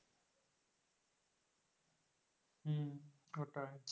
হম হঠাৎ,